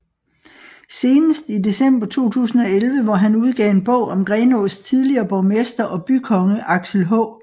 Senest i december 2011 hvor han udgav en bog om Grenaas tidligere borgmester og bykonge Aksel H